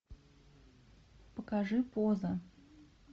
покажи поза